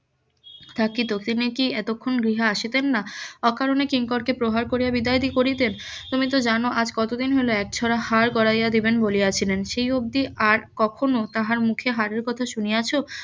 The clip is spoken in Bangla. তা কি তোকে নিয়ে কি এতক্ষন গৃহে আসিতেন না অকারনে কিংকর কে প্রহার করিয়া বিদায় করিতেন তুমি তো জানো আজ কতদিন হলো এক ছড়া হার গড়াইয় দিবেন বলিয়া ছিলেন সেই অব্দি আর কখনো তাহার মুখে হারের কথা শুনিয়াছো?